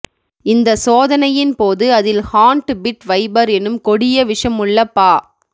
இந்த சோதனையின் போது அதில் ஹார்ன்ட் பிட் வைபர் எனும் கொடிய விஷமுள்ள பா